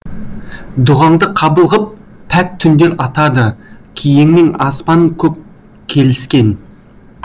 дұғаңды қабыл ғып пәк түндер атады киеңмен аспан көк келіскен